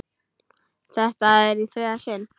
Þetta er í þriðja sinn.